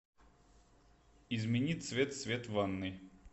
измени цвет свет в ванной